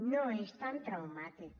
no és tan traumàtic